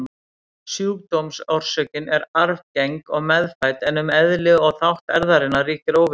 Sjúkdómsorsökin er arfgeng og meðfædd, en um eðli og þátt erfðarinnar ríkir óvissa.